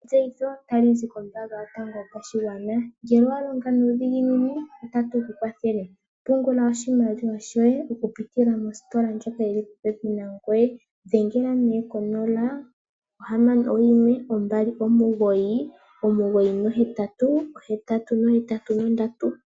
Etseyitho ta li zi kombelewa yopashigwana. Ngele owa longa nuudhiginini otatu ku kwathele. Pungula oshimaliwa shoye oku pitila mositola ndjoka yi li popepi nangoye. Dhengela nee ko 0612998883.